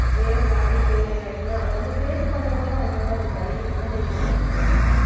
game விளையாடி failure ஆயிடுச்சுன்னா அதவந்து face பண்ண கூட அவங்களால ஒரு தைரியம் மன தைரியம் கிடையாது சொல்லப்போனா